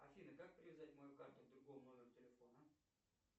афина как привязать мою карту к другому номеру телефона